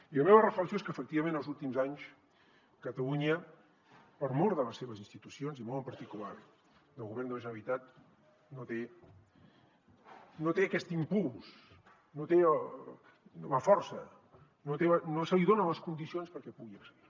i la meva reflexió és que efectivament els últims anys catalunya per mor de les seves institucions i molt en particular del govern de la generalitat no té aquest impuls no té la força no se li donen les condicions perquè pugui excel·lir